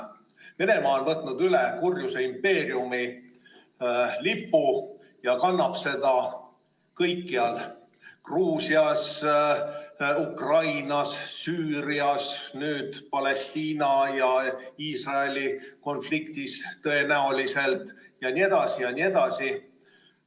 Venemaa on võtnud üle kurjuse impeeriumi lipu ja kannab seda kõikjal: Gruusias, Ukrainas, Süürias, nüüd tõenäoliselt Palestiina ja Iisraeli konfliktis jne.